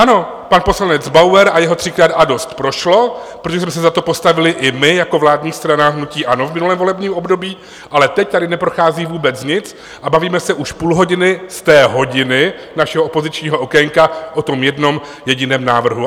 Ano, pan poslanec Bauer a jeho "třikrát a dost" prošlo, protože jsme se za to postavili i my jako vládní strana hnutí ANO v minulém volebním období, ale teď tady neprochází vůbec nic a bavíme se už půl hodiny z té hodiny našeho opozičního okénka o tom jednom jediném návrhu.